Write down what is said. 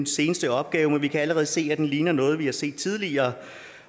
seneste opgave men vi kan allerede se at den ligner noget vi har set tidligere